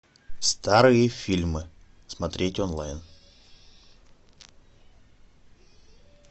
старые фильмы смотреть онлайн